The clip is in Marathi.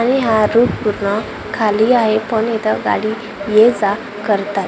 आणि हा रूट पूर्ण खाली आहे पण इथं गाडी ये जा करतात.